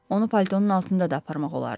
Onu paltonun altında da aparmaq olardı.